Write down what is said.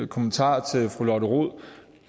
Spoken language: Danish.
kommentar til fru lotte rod